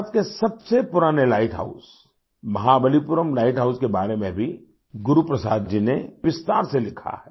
भारत के सबसे पुराने light house Mahabalipuram light house के बारे में भी गुरु प्रसाद जी ने विस्तार से लिखा है